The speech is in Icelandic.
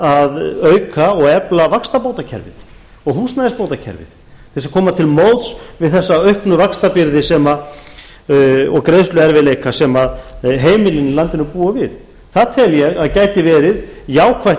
að auka og efla vaxtabótakerfið og húsnæðisbótakerfið til þess að koma til móts við þessa auknu vaxtabyrði og greiðsluerfiðleika sem heimilin í landinu búa við það tel ég að gæti verið jákvætt